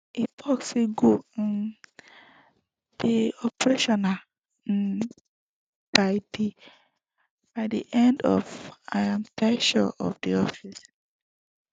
e tok say go um dey operational um by di end of im ten ure for office